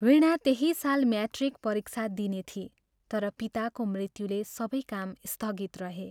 वीणा त्यही साल म्याट्रिक परीक्षा दिने थिई तर पिताको मृत्युले सबै काम स्थगित रहे।